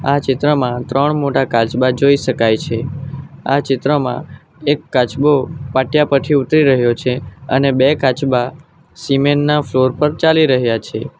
આ ચિત્રમાં ત્રણ મોટા કાચબા જોઈ શકાય છે આ ચિત્રમાં એક કાચબો પાટીયા પરથી ઉતરી રહ્યો છે અને બે કાચબા સિમેન્ટના ફ્લોર પર ચાલી રહયા છે.